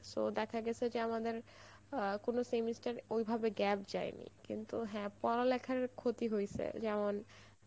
so দেখা গেছে যে আমাদের আ কোনো semester ওই ভাবে gap জয়েনি কিন্তু হ্যাঁ পড়ালেখার ক্ষতি হয়েছে যেমন